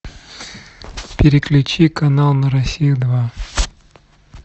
переключи канал на россию два